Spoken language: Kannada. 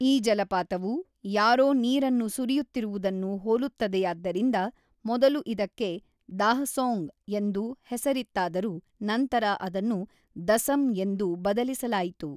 ಈ ಜಲಪಾತವು ಯಾರೋ ನೀರನ್ನು ಸುರಿಯುತ್ತಿರುವುದನ್ನು ಹೋಲುತ್ತದೆಯಾದ್ದರಿಂದ ಮೊದಲು ಇದಕ್ಕೆ ‘ದಾಃಸೋಙ್’ ಎಂದು ಹೆಸರಿತ್ತಾದರೂ ನಂತರ ಅದನ್ನು ದಸಮ್ ಎಂದು ಬದಲಿಸಲಾಯಿತು.